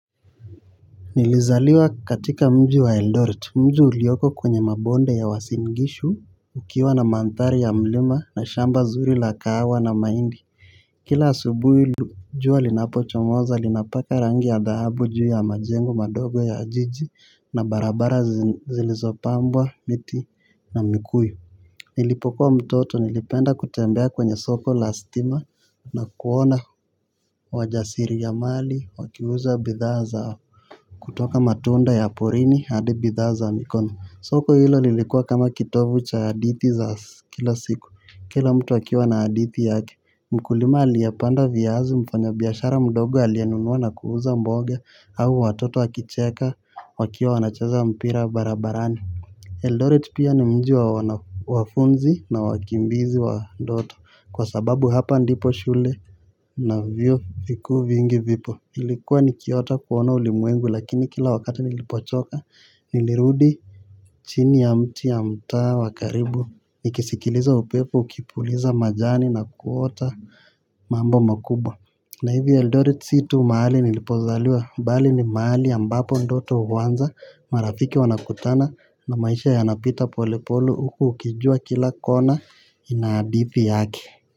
Nilizaliwa katika mji wa Eldoret mji ulioko kwenye mabonde ya Uasin gishu. Ukiwa na mandhari ya mlima na shamba zuri la kahawa na mahindi kila asubui jua linapochomoza linapaka rangi ya dhahabu juu ya majengo madogo ya jiji na barabara zilizopambwa miti na mikuyu. Nilipokuwa mtoto nilipenda kutembea kwenye soko la stima na kuona wajasiri ya mali wakiuza bidhaa zao. Kutoka matunda ya porini hadi bidhaa za mikono soko hilo lilikuwa kama kitovu cha hadithi za kila siku. Kila mtu akiwa na hadithi yake. Mkulima aliyapanda viazi mfanya biashara mdogo alienunua na kuuza mboga. Au watoto wakicheka wakiwa wanacheza mpira barabarani Eldoret pia ni mji wanafunzi na wakimbizi wa ndoto. Kwa sababu hapa ndipo shule na vyuo vikuu vingi vipo. Ilikuwa nikiota kuona ulimwengu lakini kila wakati nilipochoka nilirudi chini ya mti ya mtaa wa karibu. Nikisikiliza upepo, ukipuliza majani na kuota mambo makubwa. Na hivi eldoret si tu mahali nilipozaliwa. Mbali ni mahali ambapo ndoto uwanza marafiki wanakutana na maisha yanapita pole pole huku ukijua kila kona ina hadihi yake.